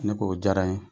Ne ko o diyara n ye